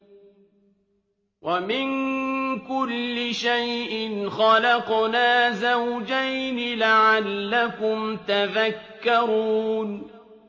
وَمِن كُلِّ شَيْءٍ خَلَقْنَا زَوْجَيْنِ لَعَلَّكُمْ تَذَكَّرُونَ